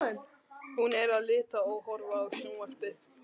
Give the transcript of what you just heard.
Hún er að lita og horfa á sjónvarpið.